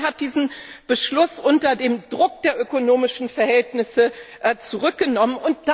Man hat diesen Beschluss unter dem Druck der ökonomischen Verhältnisse zurückgenommen.